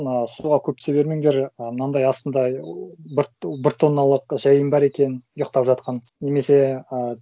ыыы суға көп түсе бермендер ы мынандай астында ы бір тонналық жайын бар екен ұйықтап жатқан немесе ы